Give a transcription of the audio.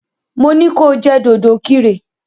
Mo ní ko jẹ́ dòdòkirè!